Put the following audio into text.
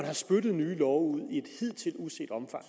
har spyttet nye love ud i et hidtil uset omfang